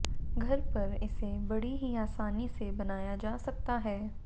घर पर इसे बड़ी ही आसानी से बनाया जा सकता है